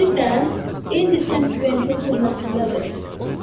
Bilirsən, indi Sen Quentin türməsindədir.